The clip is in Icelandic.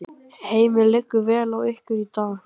Heimir: Liggur vel á ykkur í dag?